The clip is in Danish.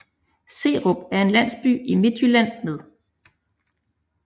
Serup er en landsby i Midtjylland med